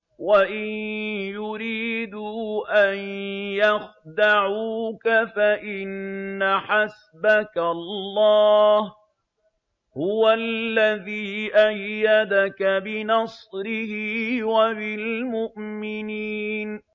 وَإِن يُرِيدُوا أَن يَخْدَعُوكَ فَإِنَّ حَسْبَكَ اللَّهُ ۚ هُوَ الَّذِي أَيَّدَكَ بِنَصْرِهِ وَبِالْمُؤْمِنِينَ